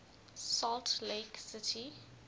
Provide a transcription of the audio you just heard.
salt lake city